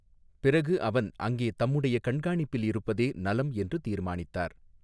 பிறகு அவன் அங்கே தம்முடைய கண்காணிப்பில் இருப்பதே நலம் என்று தீர்மானித்தார்.